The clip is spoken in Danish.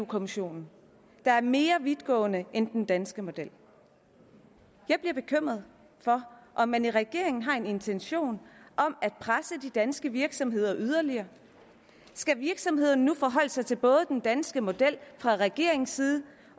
kommissionen der er mere vidtgående end den danske model jeg bliver bekymret for om man i regeringen har en intention om at presse de danske virksomheder yderligere skal virksomhederne nu forholde sig til både den danske model fra regeringens side